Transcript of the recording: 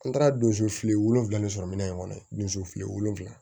An taara donso fili wolonwula ni sɔrɔ minɛn in kɔnɔ donso fili wolonfila